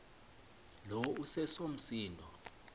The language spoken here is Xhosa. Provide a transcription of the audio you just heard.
lo iseso msindo